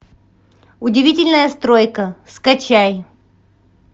удивительная стройка скачай